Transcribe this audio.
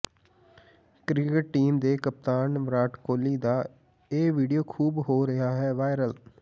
cricket team ਦੇ ਕਪਤਾਨ ਵਿਰਾਟ ਕੋਹਲੀ ਦਾ ਇਹ ਵੀਡੀਓ ਖੂਬ ਹੋ ਰਿਹਾ ਹੈ ਵਾਇਰਲ